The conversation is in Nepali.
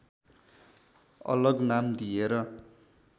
अलग नाम दिएर